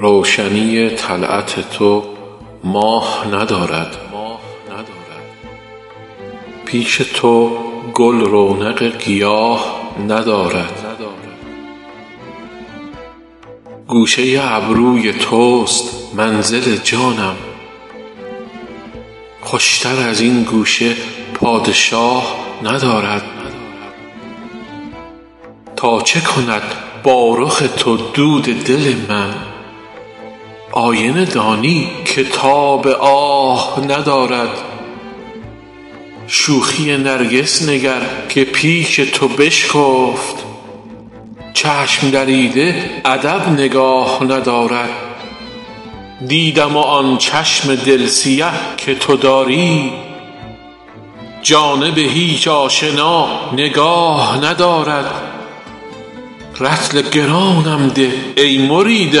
روشنی طلعت تو ماه ندارد پیش تو گل رونق گیاه ندارد گوشه ابروی توست منزل جانم خوشتر از این گوشه پادشاه ندارد تا چه کند با رخ تو دود دل من آینه دانی که تاب آه ندارد شوخی نرگس نگر که پیش تو بشکفت چشم دریده ادب نگاه ندارد دیدم و آن چشم دل سیه که تو داری جانب هیچ آشنا نگاه ندارد رطل گرانم ده ای مرید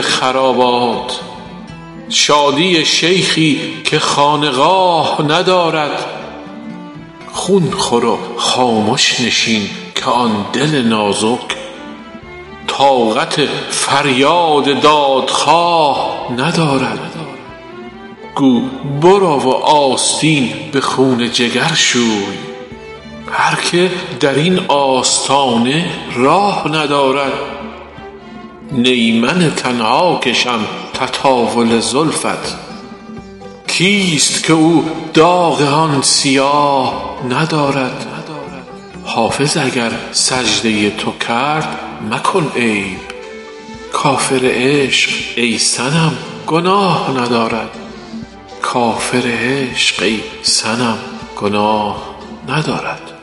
خرابات شادی شیخی که خانقاه ندارد خون خور و خامش نشین که آن دل نازک طاقت فریاد دادخواه ندارد گو برو و آستین به خون جگر شوی هر که در این آستانه راه ندارد نی من تنها کشم تطاول زلفت کیست که او داغ آن سیاه ندارد حافظ اگر سجده تو کرد مکن عیب کافر عشق ای صنم گناه ندارد